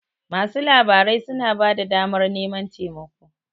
masu labarai suna ba da damar naman taimako